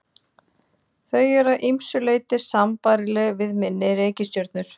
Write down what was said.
þau eru að ýmsu leyti sambærileg við minni reikistjörnur